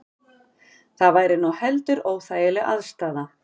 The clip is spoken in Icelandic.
Það væri nú heldur óþægileg aðstaða